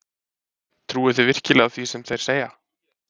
Trúi þið virkilega því sem þeir segja?